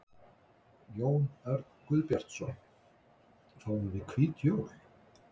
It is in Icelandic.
Jón Örn Guðbjartsson: Fáum við hvít jól?